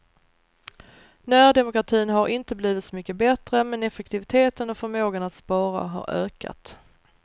Närdemokratin har inte blivit så mycket bättre men effektiviteten och förmågan att spara har ökat.